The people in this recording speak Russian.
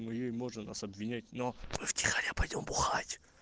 моей можно нас обвинять но мы в тихоря пойдём бухать